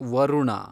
Varuna